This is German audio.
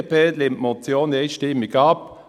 Die BDP lehnt diese Motion einstimmig ab.